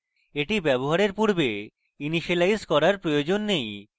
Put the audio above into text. এটি ব্যবহারের পূর্বে ইনিসিয়েলাইজ করার প্রয়োজন নেই